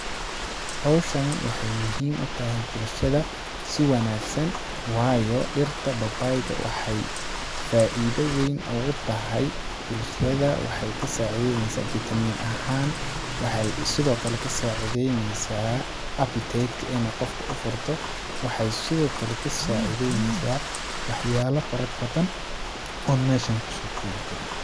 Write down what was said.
Hawshani waxeey muhiim u tahay bulshada si wanaagsan waayo ,dhirta babayga waxeey faida weyn ogu tahay bulshada wxeey ka sacideyneysaa vitamin ahaan ,waxeey sidoo kale ka sacideyneysaa appetite ka ini qofka u furto, waxeey sidoo kale ka sacideyneysaa wax yaalo fara badan oon meshaan kusoo koobi karin.